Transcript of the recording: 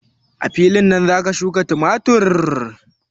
A filin nan zaki shuƙa tumatur?